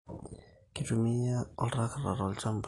Kitumiai oltracta tolchambia